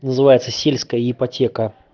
называется сельская ипотека